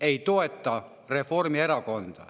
– ei toeta Reformierakonda.